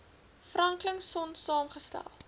franklin sonn saamgestel